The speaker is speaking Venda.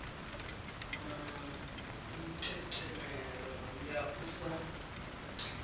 na mitetemelo ya u sa